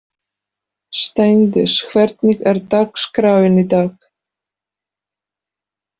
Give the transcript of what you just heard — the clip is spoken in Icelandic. Steindís, hvernig er dagskráin í dag?